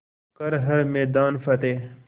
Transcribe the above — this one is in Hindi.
कर हर मैदान फ़तेह